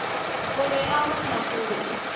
o be a mo hlakotše